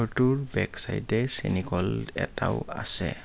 ঘৰটোৰ বেক চাইডে চেনীকল এটাও আছে।